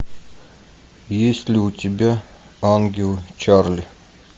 есть ли у тебя ангелы чарли